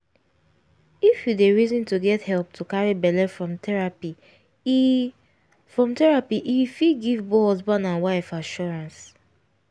if you dey reason to get help to carry belle from therapy e from therapy e fit give both husaband and wife assurrance